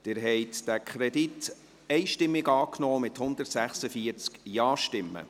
Sie haben diesen Kredit mit 146 Ja-Stimmen einstimmig angenommen.